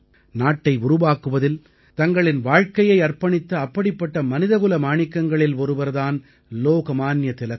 நாட்டை உருவாக்குவதில் தங்களின் வாழ்க்கையை அர்ப்பணித்த அப்படிப்பட்ட மனிதகுல மாணிக்கங்களில் ஒருவர் தான் லோக்மான்ய திலகர்